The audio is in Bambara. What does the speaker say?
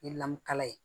Ni ye lamukala ye